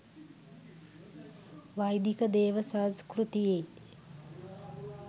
වෛදික දේව සංස්කෘතියේ